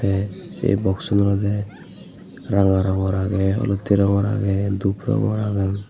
tey sei boxun olodey ranga rongor agey olottey rongor agey dhup rongor agey.